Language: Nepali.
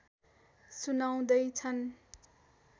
सुनाउँदै छन्